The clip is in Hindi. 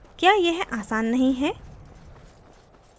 क्या यह आसान नहीं है